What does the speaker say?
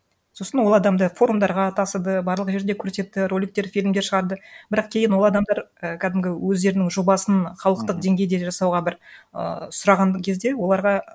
сосын ол адамды форумдарға тасыды барлық жерде көрсетті роликтер фильмдер шығарды бірақ кейін ол адамдар і кәдімгі өздерінің жобасын халықтық деңгейде жасауға бір ы сұраған кезде оларға